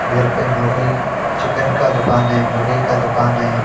इधर पे मुर्गी चिकन का दुकान है मुर्गी का दुकान है।